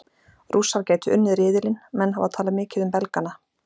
Rússar gætu unnið riðilinn Menn hafa talað mikið um Belgana.